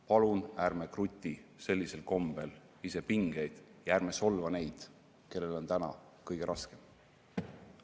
Palun ärme krutime sellisel kombel ise pingeid ja ärme solvame neid, kellel on kõige raskem.